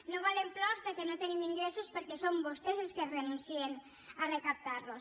no volem plors que no tenim ingressos perquè són vostès els que renuncien a recaptar los